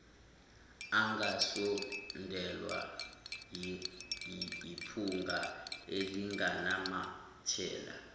ingasondelwa yiphunga elinganamathela